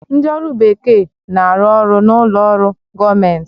Ndị ọrụ bekee na-arụ ọrụ n'ụlọ ọrụ gọọmentị